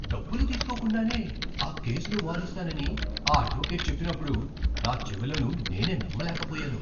డబ్బులు తీసుకోకుండానే ఆ కేసును వాదిస్తానని ఆ అడ్వొకేట్ చెప్పినప్పుడు నా చెవులను నేనే నమ్మలేకపోయాను.